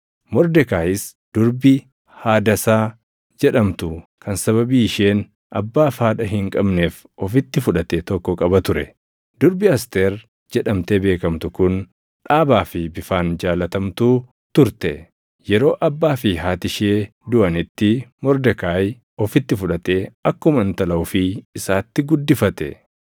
Mordekaayis, durbii Hadasaa jedhamtu kan sababii isheen abbaa fi haadha hin qabneef ofitti fudhate tokko qaba ture. Durbi Asteer jedhamtee beekamtu kun dhaabaa fi bifaan jaallatamtuu turte; yeroo abbaa fi haati ishee duʼanitti Mordekaayi ofitti fudhatee akkuma intala ofii isaatti guddifate.